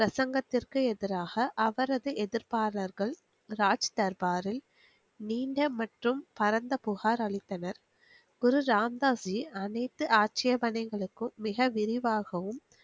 பிரசங்கத்திற்கு எதிராக அவரது எதிர்ப்பானவர்கள் ராஜ் தர்பாரில் நீங்க மற்றும் பரந்த புகார் அளித்தனர் குரு ராம்தாசி அணித்து ஆச்சியபனைகளுக்கும் மிக விருவாகும்